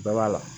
Bɛɛ b'a la